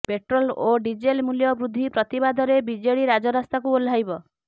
petrol ଓ diesel ମୂଲ୍ୟ ବୃଦ୍ଧି ପ୍ରତିବାଦରେ ବିଜେଡି ରାଜରାସ୍ତାକୁ ଓହ୍ଲାଇବ